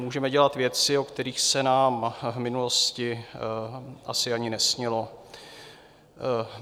Můžeme dělat věci, o kterých se nám v minulosti asi ani nesnilo.